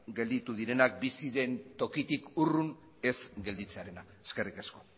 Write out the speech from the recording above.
gelditu direnak bizi den tokitik urrun ez gelditzearena eskerrik asko